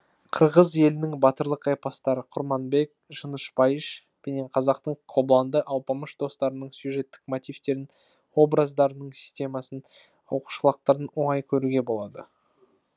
қырғыз елінің батырлық эпостары курманбек жыныш байыш пенен қазақтың кобланды алпамыш достарының сюжеттік мотивтерін образдарының системасының оқышлаулықтарын оңай көруге болады